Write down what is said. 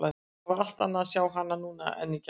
Það var allt annað að sjá hana núna en í gær.